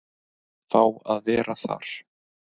Fá að vera þar.